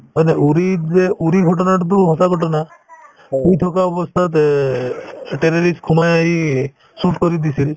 হয়নে uri ত যে uri ৰ ঘটনাটোতো সঁচা ঘটনা শুই থকা অৱস্থাত এ terrorist সোমাই আহি shoot কৰি দিছিল